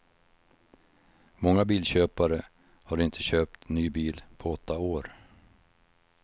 Många bilköpare har inte köpt ny bil på åtta år.